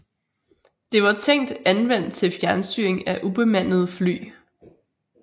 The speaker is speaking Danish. Det var tænkt anvendt til fjernstyring af ubemandede fly